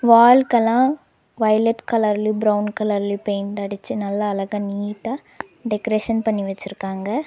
வால்கள்ளா violet கலர்லயு brown கலர்லயு paint அடிச்சு நல்லா அழகா நீட்டா டெக்கரேஷன் பண்ணி வெச்சிருக்காங்க.